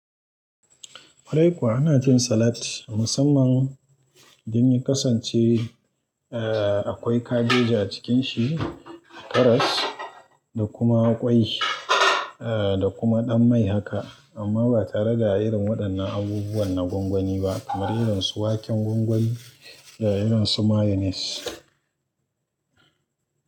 Kwarai kuwa ana cin salat musamman idan ya kasance akwai kabeji a cikin shi karas. Da kuma ƙwai da kuma ɗan mai haka amma ba tare da irin waɗannan abubuwan na gwangwani ba kamar irin su waken gwangwani da irin su mayones.